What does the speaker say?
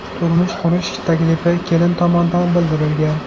Turmush qurish taklifi kelin tomonidan bildirilgan.